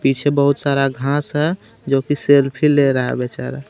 पीछे बहुत सारा घास है जोकि सेल्फी ले रहा है बिचारा.